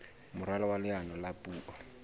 moralo wa leano la puo